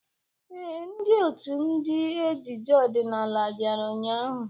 Ee, ndị ọtú ndị ejije ọdịnala bịara ụnyahụ.